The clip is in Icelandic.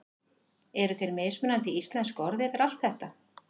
Eru til mismunandi íslensk orð yfir allt þetta?